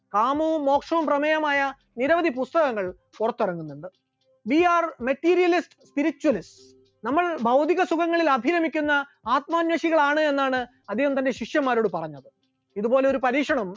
കാമവും മോക്ഷവും പ്രേമേയമായ നിരവധി പുസ്തകങ്ങൾ പുറത്തിറങ്ങുന്നുണ്ട്, we are vecterialist spiritualist, നമ്മൾ ഭൗതിക സുഖങ്ങളിൽ അഭിരമിക്കുന്ന ആത്മാന്വേഷികളാണ് എന്നാണ് അദ്ദേഹം തന്റെ ശിഷ്യന്മാരോട് പറഞ്ഞത്, ഇതുപോലെയൊരു പരീക്ഷണവും